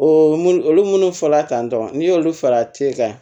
O mun olu munnu fɔla tan tɔ n'i y'olu fara kile kan